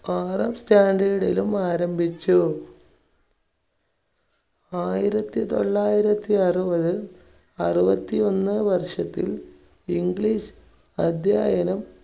ആറാം standard ലും ആരംഭിച്ചു. ആയിരത്തിതൊള്ളായിരത്തി അറുപത് അറുപത്തിയൊന്ന് വർഷത്തിൽ english അധ്യായനം